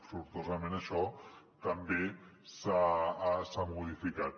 sortosament això també s’ha modificat